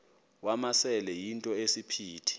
wamasele yinto esisiphithi